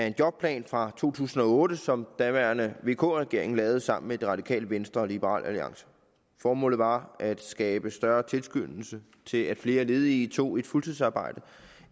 en jobplan fra to tusind og otte som daværende vk regering lavede sammen med det radikale venstre og liberal alliance formålet var at skabe større tilskyndelse til at flere ledige tog et fuldtidsarbejde